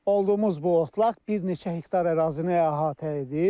Olduğumuz bu otlaq bir neçə hektar ərazini əhatə edir.